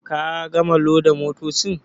Ka gama loda motocin.